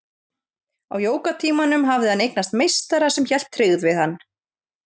Á jógatímanum hafði hann eignast meistara sem hélt tryggð við hann.